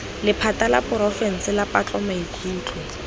lephata la porofense la patlomaikutlo